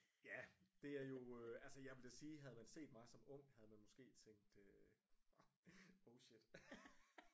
Ja det er jo øh altså jeg vil da sige havde man set mig som ung havde man måske tænkt øh oh shit